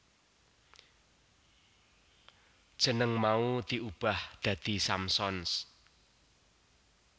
Jeneng mau diubah dadi Samsons